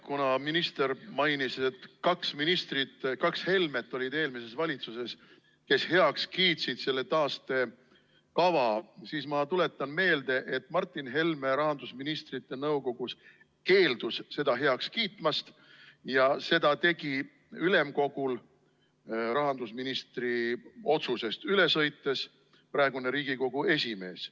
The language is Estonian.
Kuna minister mainis, et kaks ministrit, kaks Helmet olid eelmises valitsuses, kes selle taastekava heaks kiitsid, siis ma tuletan meelde, et Martin Helme rahandusministrite nõukogus keeldus seda heaks kiitmast ja seda tegi ülemkogul rahandusministri otsusest üle sõites praegune Riigikogu esimees.